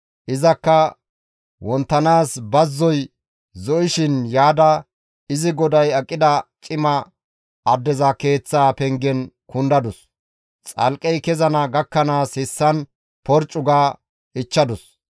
Izakka wonttanaas bazzoy zo7ishin yaada izi goday aqida cima addeza keeththaa pengen kundadus; xalqqey kezana gakkanaas hessan porccu ga ichchadus.